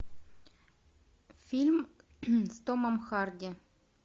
фильм с томом харди